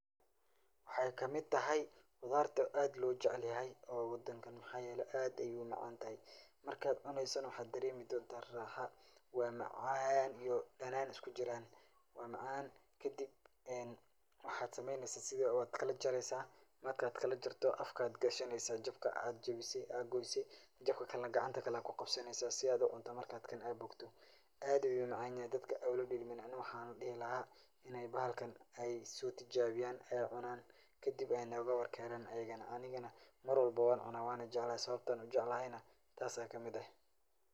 Waxay kamid taxay, qudharta ad lojecelyaxay o wadankan, waxa yele ad ayay umacantaxay, markadh cuneysonax waxa daremedhonta raxa, wa macaan iyo danan iskujiran, wa macan kadib, enn waxa sameyneysaa wakalajareysa, markadh kalajarto afka gashaneysaa jabka adh jawise, jabkakalenax gacanta kuqabsaneysaa, si adh ucunto marka kan ubogtoo, adh ayu umacanyaxay dadka waxan dixi laxay in baxalkan ay sotijawiyankadib ay nogawarkenan marwalba wancunaa sawabta ujeclaxaynah tas ay kamid ah.